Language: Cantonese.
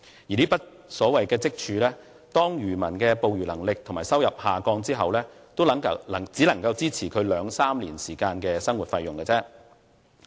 而這筆所謂積儲，當漁民的捕魚能力和收入下降後，也只能支持其兩三年時間的生活費用。